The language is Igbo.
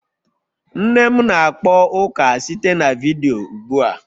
Nne m na-akpọ ụka site na vidiyo ụgbua